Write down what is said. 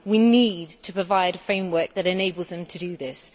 We need to provide a framework that enables them to do this.